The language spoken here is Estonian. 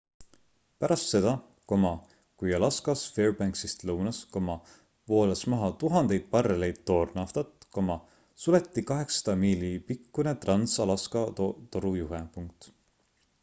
pärast seda kui alaskas fairbanksist lõunas voolas maha tuhandeid barreleid toornaftat suleti 800 miili pikkune trans-alaska torujuhe